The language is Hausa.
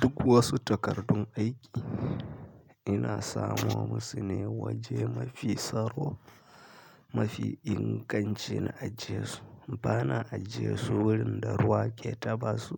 Duk wasu takardun aiki ina sama musu ne waje mafi tsaro mafi inganci na ajiye su. Bana ajiye su wurin da ruwa ke taɓa su